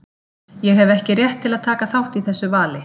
Ég hef ekki rétt til að taka þátt í þessu vali.